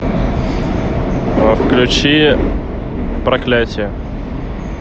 включи проклятие